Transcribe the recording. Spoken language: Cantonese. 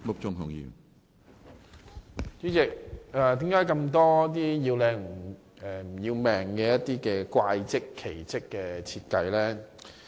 主席，為何有那麼多"要靚唔要命"的"怪則"或"奇則"的設計呢？